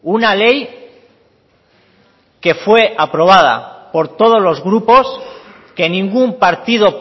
una ley que fue aprobada por todos los grupos que ningún partido